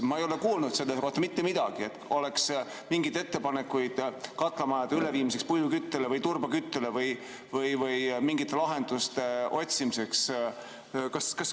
Ma ei ole kuulnud mitte midagi selle kohta, et oleks mingeid ettepanekuid katlamajade üleviimiseks puiduküttele või turbaküttele või mingite lahenduste otsimiseks.